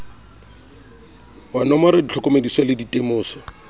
wa nomora ditlhokomediso le ditemoso